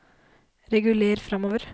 reguler framover